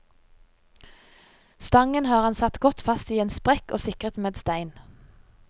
Stangen har han satt godt fast i en sprekk og sikret med stein.